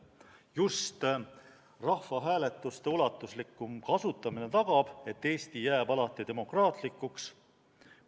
Just rahvahääletuste ulatuslikum kasutamine tagab, et Eesti jääb alati demokraatlikuks.